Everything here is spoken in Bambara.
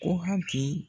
Ko hakili